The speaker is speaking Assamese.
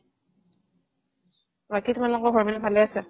বাকি তোমালোকৰ ঘৰৰ পিনে ভালে আছে ?